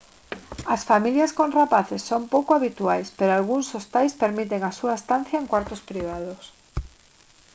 as familias con rapaces son pouco habituais pero algúns hostais permiten a súa estancia en cuartos privados